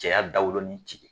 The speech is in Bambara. Cɛ dawolonin jigin